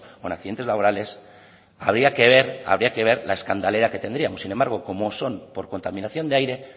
o en accidentes laborales habría que ver la escandalera que tendríamos sin embargo como son por contaminación de aire